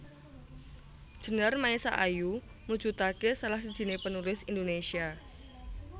Djenar Maesa Ayu mujudake salah sijiné penulis Indonesia